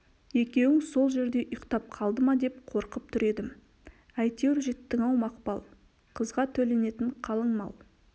екеуің сол жерде ұйықтап қалды ма деп қорқып тұр едім әйтеуір жеттің-ау мақпал қызға төленетін қалыңмал